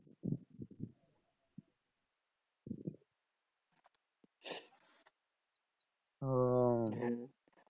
ওহ